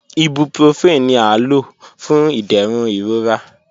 Ibuprofen ni a lo fun iderun irora.